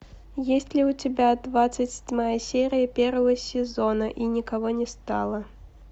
есть ли у тебя двадцать седьмая серия первого сезона и никого не стало